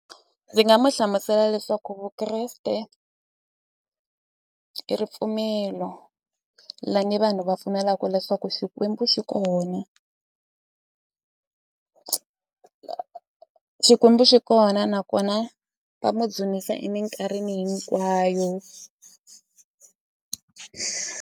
Ndzi nga mu hlamusela leswaku Vukreste i ripfumelo lani vanhu va pfumelaku leswaku xikwembu xi kona xikwembu xi kona nakona va mu dzunisa eminkarhini hinkwayo.